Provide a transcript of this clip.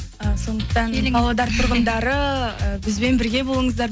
і сондықтан павлодар тұрғындары бізбен бірге болыңыздар